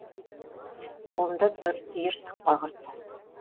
қолында бір түйір сықпа құрт